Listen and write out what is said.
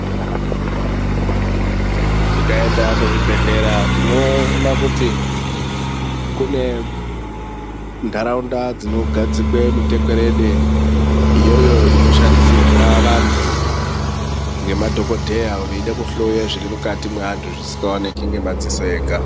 Tikaenda kuzvibhedhlera tinoona kuti kune ntaraunda dzinogadzikwe mutekwerede iyoyo inoshandisirwa vanthu ngemadhokodheya veida kuhloye zviri mukati mweantu zvisikaoneki ngemadziso ega.